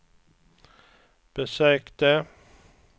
besökte